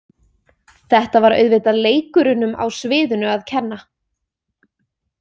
Þetta var auðvitað leikurunum á sviðinu að kenna.